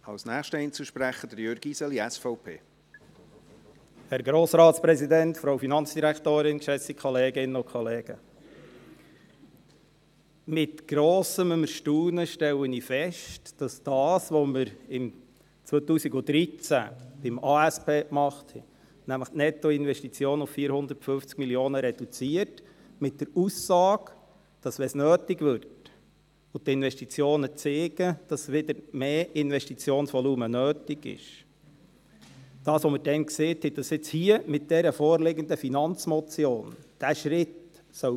Mit grossem Erstaunen stelle ich fest, dass das, was wir damals sagten, nämlich, dass dieser Schritt gemacht werden soll – was wir im 2013 bei der Angebots- und Strukturüberprüfung (ASP) sagten, nämlich die Nettoinvestitionen auf 450 Mio. Franken zu reduzieren, verbunden mit der Aussage, «sofern es nötig wird» – jetzt bei der vorliegenden Finanzmotion von linker Seite bekämpft wird.